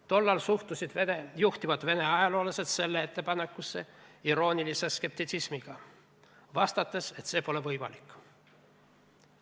Tollal suhtusid juhtivad Vene ajaloolased sellesse ettepanekusse iroonilise skeptitsismiga, vastates, et see pole võimalik.